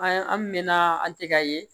An an mɛna an tɛ ka ye